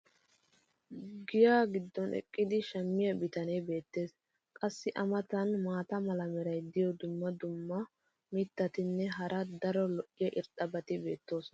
giyaa giddon eqqidi shammiya bitanee beetees. qassi a matan maata mala meray diyo dumma dumma mitatinne hara daro lo'iya irxxabati beetoosona.